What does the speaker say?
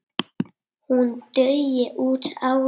Hún dugi út árið.